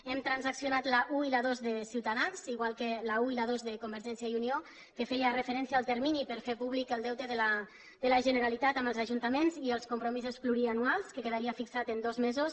hem transaccionat l’un i la dos de ciutadans igual que l’un i la dos de convergència i unió que feien referència al termini per a fer públic el deute de la generalitat amb els ajuntaments i els compromisos plurianuals que quedaria fixat en dos mesos